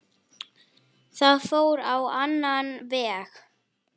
Það fór á annan veg.